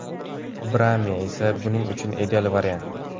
Braimi esa buning uchun ideal variant.